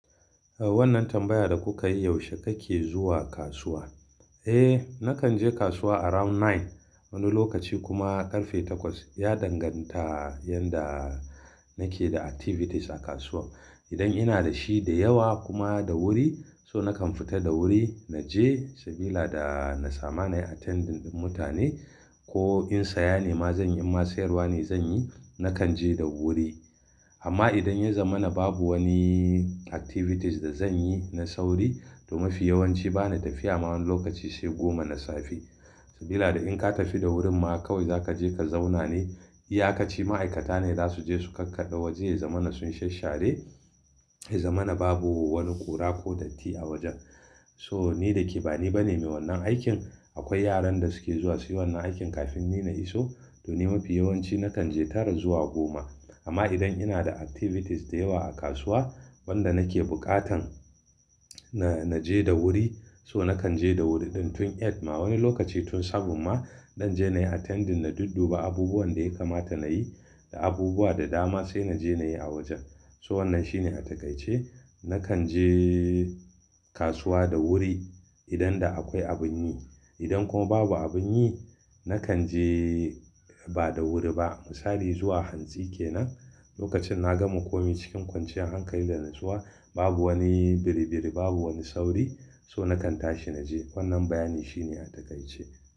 A wannan tambaya da kuka yi, yaushe kake zuwa kasuwa? Eh, nakan je kasuwa around nine, wani lokaci kuma karfe takwas. Ya danganta yanda nake da activities a kasuwa. Idan ina da shi da yawa kuma da wuri, so nakan fita da wuri na je saboda da na sama nayi attending mutane ko in saya ne ma zan yi in ma sayarwa ne zan yi, nakan je da wuri. Amma idan ya zama na babu wani activities da zan yi na sauri, to mafi yawanci bana tafiya ma wani lokaci sai goma na safe. Saboda da in ka tafi da wurin ma kawai za ka je ka zauna ne. Iya ka ci ma'aikata ne za su je su kakkada waje ya zama na sun sha share, ya zama na babu wani ƙura ko datti a wajen. So ni da ke bani bane mai wannan aikin, akwai yaran da suke zuwa suyi wannan aikin kafin ni na iso. To ni mafi yawanci nakan je tara zuwa goma. Amma idan ina da activities da yawa a kasuwa wanda nake bukatan na je da wuri, so nakan je da wuri ɗin tun eight ma wani lokaci tun seven ma don je nayi attending na dudduba abubuwan da ya kamata nayi da abubuwa da dama sai naje nayi a wajen. So wannan shine a takaice. Nakan je kasuwa da wuri idan da akwai abin yi. Idan kuma babu abin yi, nakan je ba da wuri ba. Misali zuwa hantsi kenan, lokacin na gama komai cikin kwanciyar hankali da na zuwa babu wani biri biri, babu wani sauri. So nakan tashi naje. Wannan bayani shine a takaice.